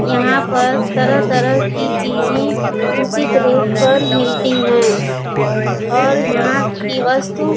यहां पर तरह-तरह की चीजें उचित रेट पर मिलती हैं और यहां की वस्तु --